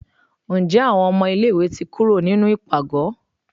nje awọn ọmọ ilẹ̀ ìwé tí kúrò nínú ipágọ?